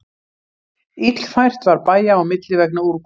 Illfært var bæja á milli vegna úrkomu